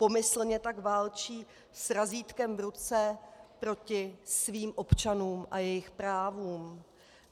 Pomyslně tak válčí s razítkem v ruce proti svým občanům a jejich právům.